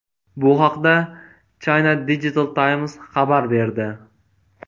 Bu haqda China Digital Times xabar berdi .